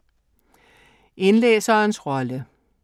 Indlæserens rolle